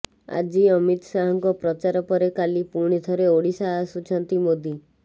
ଆଜି ଅମିତ୍ ଶାହାଙ୍କ ପ୍ରଚାର ପରେ କାଲି ପୁଣି ଥରେ ଓଡ଼ିଶା ଆସୁଛନ୍ତି ମୋଦି